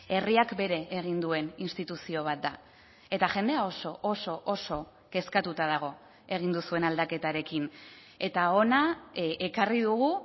herriak bere egin duen instituzio bat da eta jendea oso oso oso kezkatuta dago egin duzuen aldaketarekin eta hona ekarri dugu